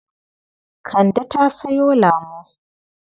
Kande ta sayo lamo.